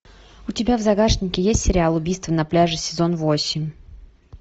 у тебя в загашнике есть сериал убийство на пляже сезон восемь